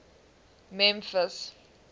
memphis